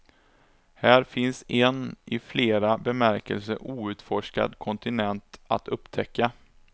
Här finns en i flera bemärkelser outforskad kontinent att upptäcka.